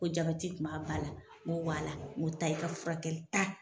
Ko jabɛti tun b'a ba la, ŋo waala ŋo taa i ka furakɛli taa